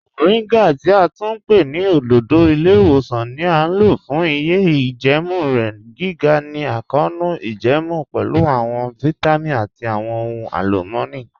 Moringa ti a tún pẹ̀ ni ọ̀dọ̀dọ̀ ilẹ̀-iwosan ni a mọ̀ fun iye ijẹẹmu rẹ, giga ni akọọnu ijẹẹmu, pẹ̀lú awọn vitamin ati awọn ọhun alumọni.